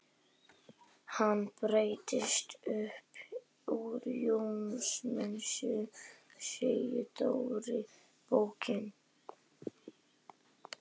Hann breytist upp úr Jónsmessunni segir Dóri bóki.